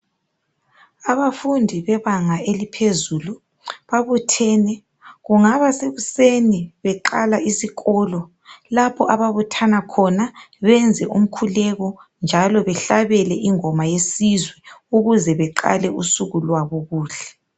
Abafundi bebanga eliphezulu babuthene kungaba sekuseni beqala isikolo lapho ababuthana khona benze umkhuleko njalo behlabele ingoma yesizwe ukuze baqale usuku zwabo kuhle